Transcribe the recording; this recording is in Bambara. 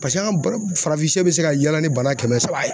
Paseke an bara farafinsɛ bɛ se ka yaala ni bana kɛmɛ saba ye.